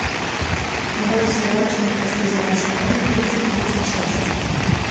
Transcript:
нарой сериальчик как я встретил вашу маму тридцать третья часть